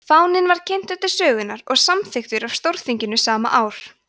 fáninn var kynntur til sögunnar og samþykktur af stórþinginu sama ár